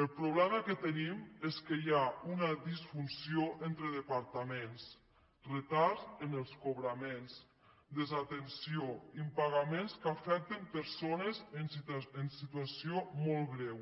el problema que tenim és que hi ha una disfunció entre departaments retards en els cobraments desatenció impagaments que afecten persones en situació molt greu